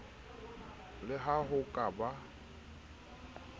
le ha ho ka ba